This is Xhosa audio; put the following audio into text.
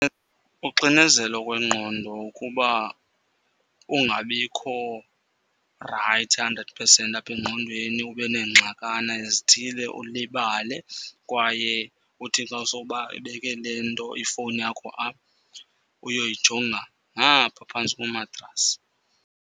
Uxinezelo kwengqondo ukuba ungabikho rayithi hundred percent apha engqondweni ube neengxakana ezithile ulibale. Kwaye uthi xa sowubeke le nto ifowuni yakho apha, uyoyijonga ngaphaa phantsi komatrasi.